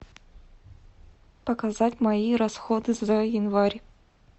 показать мои расходы за январь